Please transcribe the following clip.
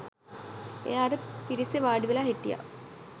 එයා අර පිරිසේ වාඩිවෙලා හිටිය